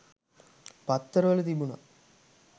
පත්තර වල තිබුණා.